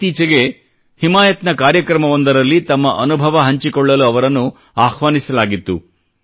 ಇತ್ತೀಚೆಗೆ ಹಿಮಾಯತ್ನ ಕಾರ್ಯಕ್ರಮವೊಂದರಲ್ಲಿ ತಮ್ಮ ಅನುಭವ ಹಂಚಿಕೊಳ್ಳಲು ಅವರನ್ನು ಆಹ್ವಾನಿಸಲಾಗಿತ್ತು